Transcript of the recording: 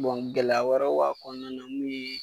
gɛlɛya wɛrɛw b'a kɔnɔna mun ye